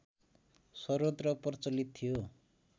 सर्वत्र प्रचलित थियो